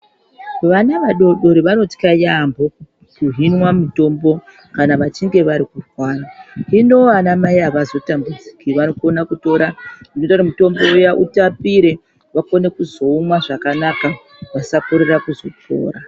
Vana vadodori vanotya yaamho kuhinwa mitombo kana vachinge vari kurwara. Hino vanamai avazotambudziki vanokona kutora zvinoita kuti mitombo iya itapire vakone kuzoumwa zvakanaka vasakorera kuzvipfuura.